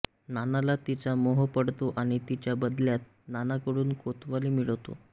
नानाला तिचा मोह पडतो आणि तिच्या बदल्यात नानाकडून कोतवाली मिळवतो